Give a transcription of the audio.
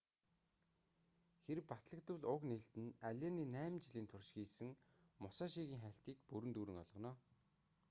хэрэв батлагдвал уг нээлт нь аллений найман жилийн турш хийсэн мусашигийн хайлтыг бүрэн дүүрэн болгоно